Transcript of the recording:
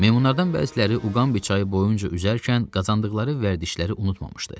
Meymunlardan bəziləri Uqambi çayı boyunca üzərkən qazandıqları vərdişləri unutmamışdı.